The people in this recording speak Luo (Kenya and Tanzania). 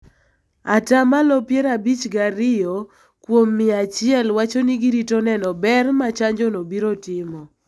at malo piero abich gi ariyo kuom mia achiel wacho ni girito neno ber ma chanjono biro timo